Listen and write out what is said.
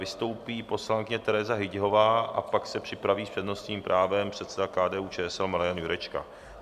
Vystoupí poslankyně Tereza Hyťhová a pak se připraví s přednostním právem předseda KDU-ČSL Marian Jurečka.